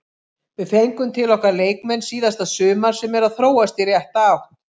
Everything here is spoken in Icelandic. Við fengum til okkar leikmenn síðasta sumar sem eru að þróast í rétta átt.